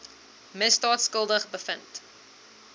misdaad skuldig bevind